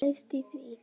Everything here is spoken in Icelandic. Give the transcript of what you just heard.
Hvað felst í því?